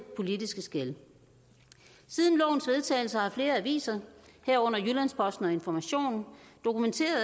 politiske skel siden lovens vedtagelse har flere aviser herunder jyllands posten og information dokumenteret at